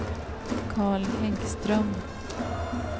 Carl Häggström